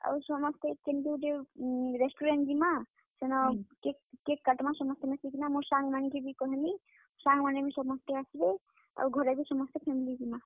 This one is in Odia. ଆଉ ସମସ୍ତେ କେନ୍ କେ ଗୁଟେ restaurant ଯିମା ସେନ cake କାଟ୍ ମା ସମସ୍ତେ ମିଶିକିନା, ମୋର ସାଙ୍ଗ ମାନଙ୍କୁ ବି କହେମି, ସାଙ୍ଗ ମାନେବି ସମସ୍ତେ ଆସ୍ ବେ ଆଉ ଘରେ ବି ସମସ୍ତେ family ଯିମା।